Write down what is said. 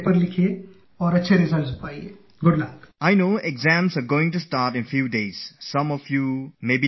I have only one message for you all